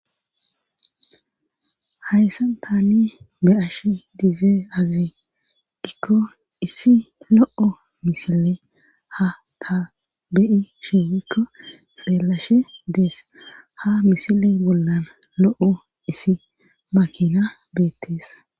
hayssan tani be'ashe dizay azi gikko issi lo'o misile ha ta beyashe woyikko xeellashe dees ha misile bollan lo'o issi makina beetteesa